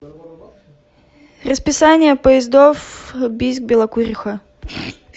расписание поездов бийск белокуриха